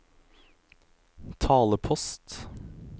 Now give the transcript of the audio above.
talepost